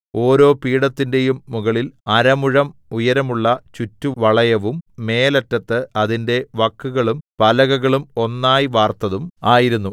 ഓരോ പീഠത്തിന്റെയും മുകളിൽ അര മുഴം ഉയരമുള്ള ചുറ്റുവളയവും മേലറ്റത്ത് അതിന്റെ വക്കുകളും പലകകളും ഒന്നായി വാർത്തതും ആയിരുന്നു